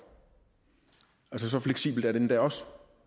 så fleksibelt er det endda også